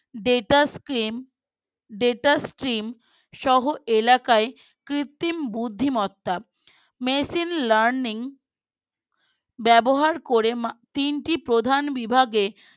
Data scheme Data scheme সহ এলাকায় কৃত্রিম বুদ্ধিমত্তা Machine Learning ব্যবহার করে তিনটি প্রধান বিভাগের